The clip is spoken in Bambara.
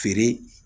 Feere